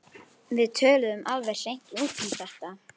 Við töluðum alveg hreint út um þetta.